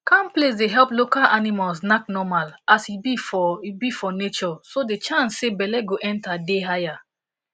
calm place day help local animals knack normal as he be for he be for natureso the chance say belle go enter day higher